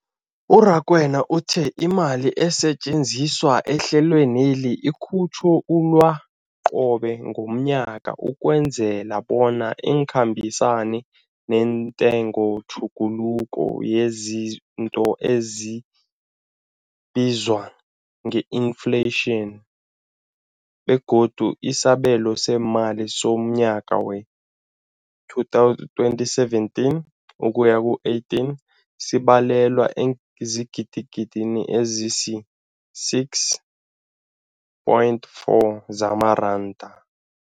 U-Rakwena uthe imali esetjenziswa ehlelweneli ikhutjhulwa qobe ngomnyaka ukwenzela bona ikhambisane nentengotjhuguluko yezinto ebizwa nge-infleyitjhini, begodu isabelo seemali somnyaka we-2017 ukuya ku-18 sibalelwa eengidigidini ezisi-6.4 zamaranda.